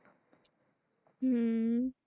হম